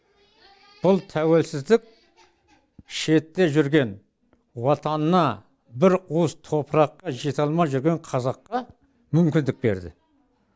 бұл тәуелсіздік шетте жүрген отанына бір уыс топыраққа жете алмай жүрген қазаққа мүмкіндік берді